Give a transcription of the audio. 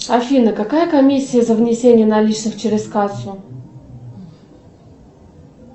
афина какая комиссия за внесение наличных через кассу